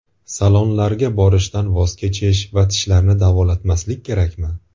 Salonlarga borishdan voz kechish va tishlarni davolatmaslik kerakmi?